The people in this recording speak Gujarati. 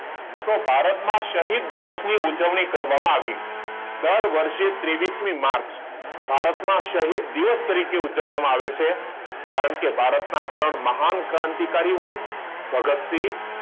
તો ભારત માં શહીદ દિવસ ની ઉજવણી કરવામાં આવી દર વર્ષે ત્રેવીસ મી માર્ચ ભારત માં શહીદ દિવસ તરીકે ઉજવામાં આવે છે કારણ કે ભારત ના ત્રણ મહાન ક્રાંતિકારીઓ ભગતસિંહ